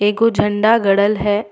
एगो झंडा गाड़ल हैं।